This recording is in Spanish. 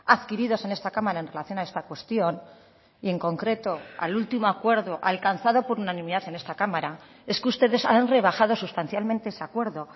adquiridos en esta cámara en relación a esta cuestión y en concreto al último acuerdo alcanzado por unanimidad en esta cámara es que ustedes han rebajado sustancialmente ese acuerdo